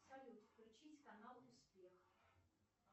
салют включить канал успех